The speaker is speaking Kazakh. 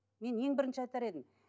мен ең бірінші айтар едім